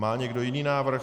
Má někdo jiný návrh?